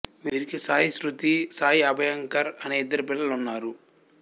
వీరికి సాయి స్మృతి సాయి అభయంకర్ అనే ఇద్దరు పిల్లలున్నారు